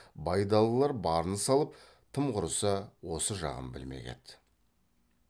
байдалылар барын салып тым құрса осы жағын білмек еді